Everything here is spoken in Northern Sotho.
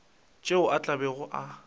tšeo a tla bego a